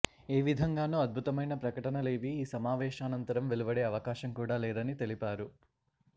ఏ విధంగానూ అద్భుతమైన ప్రకటనలేవీ ఈ సమావేశానంతరం వెలువడే అవకాశం కూడా లేదని తెలిపారు